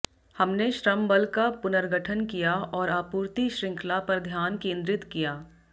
हमने श्रमबल का पुनर्गठन किया और आपूर्ति शृंखला पर ध्यान केंद्रित किया